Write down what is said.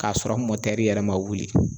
K'a sɔrɔ mɔtɛri yɛrɛ ma wuli